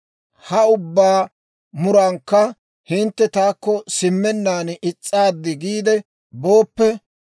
«Ha ubbaa murankka hintte taakko simmennaan is's'aaddi giide booppe,